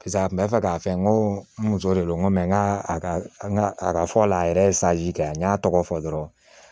Paseke a kun bɛ fɛ k'a fɛ n ko n muso de don n ko mɛ n ka a ka a ka fɔ a la a yɛrɛ ye kɛ a n y'a tɔgɔ fɔ dɔrɔn